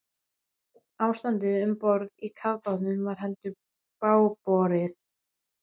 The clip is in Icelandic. Ástandið um borð í kafbátnum var heldur bágborið.